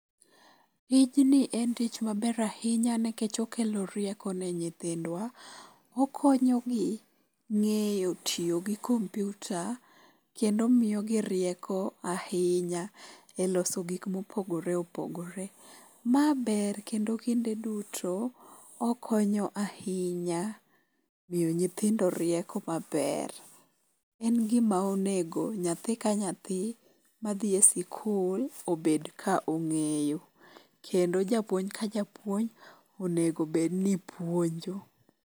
Tijni en tich maber ahinya nikech okelo rieko ne nyithindwa. Okonyo gi ng'eyo tiyo gi kompyuta kendo miyogi rieko ahinya e loso gik mopogore opogore. Ma ber kendo kinde duto okonyo ahinya miyo nyithindo rieko maber. En gima onego nyathi ka nyathi madhi e skul Obed ka ong'eyo. Kendo japuonj ka japuonj onego bed ni puonjo.